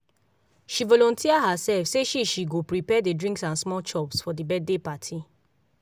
she volunteer herself say na she she go prepare the drinks and small chops for the birthday party